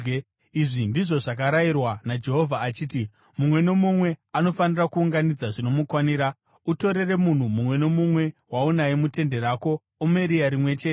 Izvi ndizvo zvakarayirwa naJehovha achiti, ‘Mumwe nomumwe anofanira kuunganidza zvinomukwanira. Utorere munhu mumwe nomumwe waunaye mutende rako omeri rimwe chete.’ ”